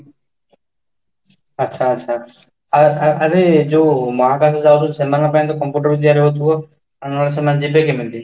ଆଛା, ଆଛା ଆ ଆରେ ଯୋଉ ମହାକାସ ଯାଉଛନ୍ତି ସେମାନଙ୍କ ପାଇଁ computer ଜରିଆରେ ହଉଥିବ ନହଲେ ସେମାନେ ଯିବେ କେମିତି?